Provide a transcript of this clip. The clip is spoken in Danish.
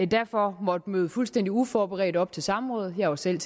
derfor måtte møde fuldstændig uforberedte op til samråd jeg var selv